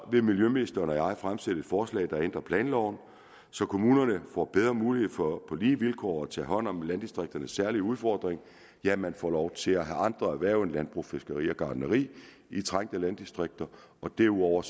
vil miljøministeren og jeg fremsætte et forslag der ændrer planloven så kommunerne får bedre mulighed for på lige vilkår at tage hånd om landdistrikternes særlige udfordringer ja man får lov til at have andre erhverv end landbrug fiskeri og gartneri i trængte landdistrikter og derudover